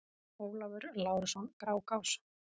Ólafur Lárusson: Grágás